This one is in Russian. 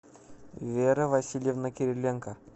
вера васильевна кириленко